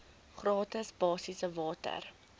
gratis basiese water